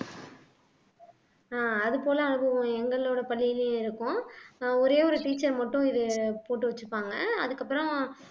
ஆஹ் அது போல அதுவும் எங்களோட பள்ளியிலயும் இருக்கும் ஆஹ் ஒரே ஒரு teacher மட்டும் இது போட்டு வச்சிப்பாங்க அதுக்கப்புறம்